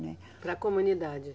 Né. Para a comunidade.